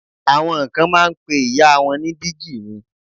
Àwọn kan máa ń pe ìyá wọn ní dígí mi.